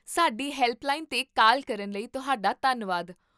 ਸਾਡੀ ਹੈਲਪਲਾਈਨ 'ਤੇ ਕਾਲ ਕਰਨ ਲਈ ਤੁਹਾਡਾ ਧੰਨਵਾਦ